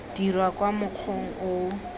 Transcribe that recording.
dirwa ka mokgwa o o